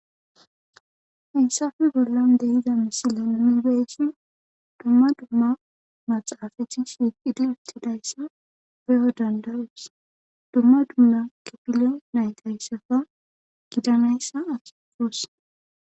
hensafe bollan dehiza misilanni geesin dumma dumma maxaafajcis wiqiletidayssa beyo dandaroos dumma dumma kipile naytayssafa gidanayssa asafoos